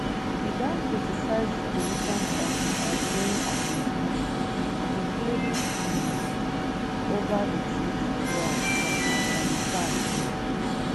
e don criticise di positions of di outgoing administration including um ova di troop withdrawal from afghanistan um